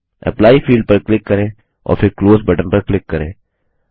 apply field पर click करें और फिर क्लोज बटन पर क्लिक करें